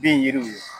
Bin yiriw ye